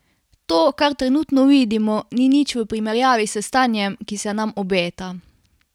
To, kar trenutno vidimo, ni nič v primerjavi s stanjem, ki se nam obeta!